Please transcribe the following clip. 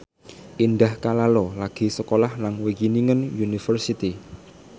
Indah Kalalo lagi sekolah nang Wageningen University